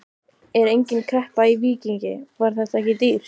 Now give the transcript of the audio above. Er engin kreppa í Víkingi, var þetta ekki dýrt?